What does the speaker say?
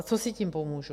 A co si tím pomůžu?